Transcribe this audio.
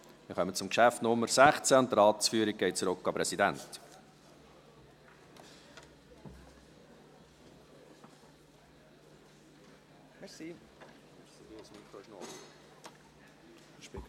Wir kommen zum Geschäft Nummer 16, und die Ratsführung geht zurück an den Präsidenten.